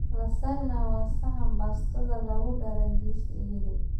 Lasagna waa saxan baastada lagu daray jiis iyo hilib.